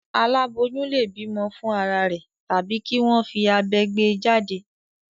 Àláboyún lè bímọ fún ara rẹ̀ tàbí kí wọ́n fi abẹ gbé e jáde.